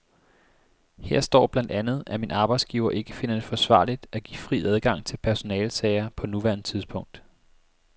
Her står blandt andet, at min arbejdsgiver ikke finder det forsvarligt at give fri adgang til personalesager på nuværende tidspunkt.